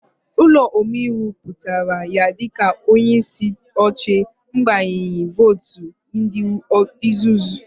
Ụlọ omeiwu kwupụtara ya dị ka onyeisi oche n'agbanyeghị votu ndị ezuru